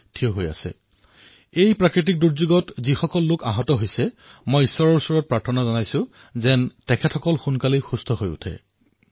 মই প্ৰাৰ্থনা কৰিছোঁ যে এই প্ৰাকৃতিক দুৰ্যোগত আঘাত প্ৰাপ্ত হোৱা লোকসকলক সোনকালে সুস্থ হৈ উঠক